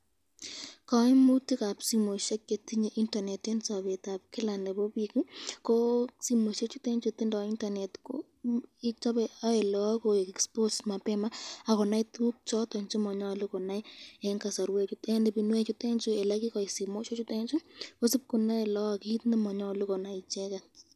Kaimutikab simoisyek chetinye internet ko ae lagok konai tukuk chechang,